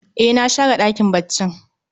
E, na share ɗakin baccin